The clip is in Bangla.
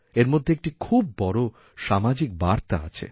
এর মধ্যে একটি খুব বড় সামাজিক বার্তা আছে